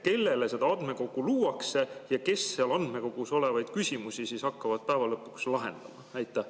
Kellele seda andmekogu luuakse ja kes seal andmekogus olevaid küsimusi siis hakkavad lõpuks lahendama?